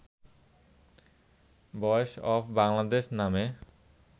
বয়েস অফ বাংলাদেশ' নামে